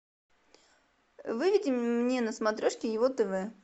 выведи мне на смотрешке его тв